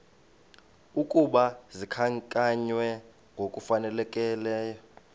ukuba zikhankanywe ngokufanelekileyo